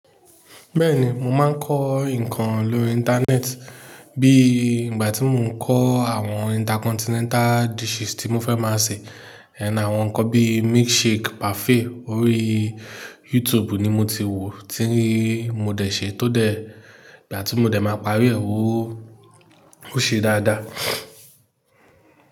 Bẹ́ẹ̀ ni, mo máa ń kọ́ nǹkan lórí Íńtánẹ́ẹ̀tì, bí i ìgbà tí mo ń kọ́ àwọn intercontinental dishes tí mo fẹ́ máa sè. And àwọn nǹkan bí i milkshake, parfait orí YouTube ni mo ti wò, tí mo dẹ̀ ṣe, tó dẹ̀, ìgbà tí mo dẹ̀ máa pari ẹ́, ó ṣe dáadáa.